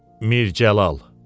Mir Cəlal.